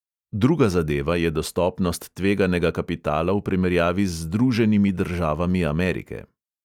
Druga zadeva je dostopnost tveganega kapitala v primerjavi z združenimi državami amerike.